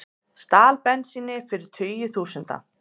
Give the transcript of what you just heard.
Stal bensíni fyrir tugi þúsunda